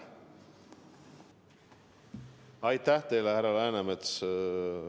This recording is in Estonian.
Aitäh teile, härra Läänemets!